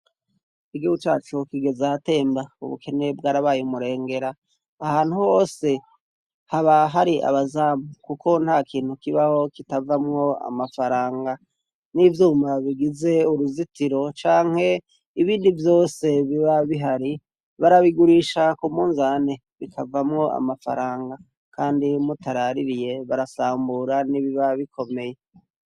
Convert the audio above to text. Igihugu cacu kigeze ahatemba ubukene bwarabaye umurengera , aha hose haba hari abazamu kuko ntakintu kibaho kitavamwo amafaranga nivyuma bigize uruzitiro canke ibindi vyose biba bihari barabigurisha kumunzane bikavamwo amafaranga kandi mutaraririye barasambura nibiba bikomeye.